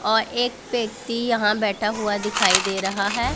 और एक व्यक्ति यहां बैठा हुआ दिखाई दे रहा है।